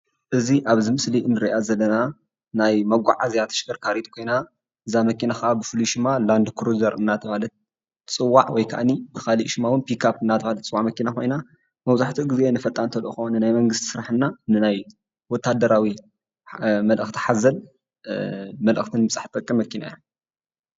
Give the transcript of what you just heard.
እዚ ኣብዚ ምስሊ እነሪኣ ዘለና ናይ መጓዓዝያ ተሽከርካሪት ኮይና እዛ መኪና ክዓ ብፉሉይ ሽማ ላንድክሮዘር እናተብሃለት ትፅዋዕ። ወይ ክኣኒ ብኻሊእ ሽማ ፒክኣፕ እናተብሃለት ትፅዋዕ መኪና ኮይና መብዛሕቲኡ ግዜ ንፈጣን ተልእኾ ንናይ መንግስቲ ስራሕ እና ንናይ ወታደራዊ መልአክቲ ሓዘል መልአኽቲ ንምብፃሕ ትጠቅም መኪና እያ።